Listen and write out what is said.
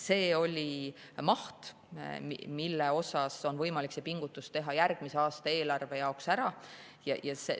See oli maht, mille ulatuses on võimalik see pingutus järgmise aasta eelarve jaoks ära teha.